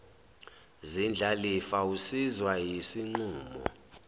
zindlalifa usizwa yisinqumo